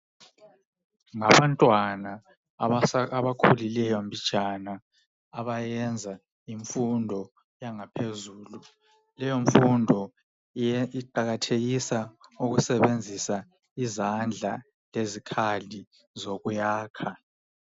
Ngabantwana abakhulileyo mbijana abayenza imfundo yangaphezulu. Leyo mfundo iqakathekisa ukusebenzisa izandla lezikhali zokuyakha.